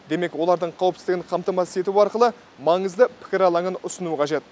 демек олардың қауіпсіздігін қамтамасыз ету арқылы маңызды пікір алаңын ұсыну қажет